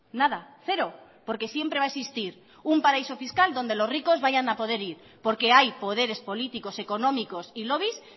nada cero porque siempre va a existir un paraíso fiscal donde los ricos vayan a poder ir porque hay poderes políticos económicos y lobbies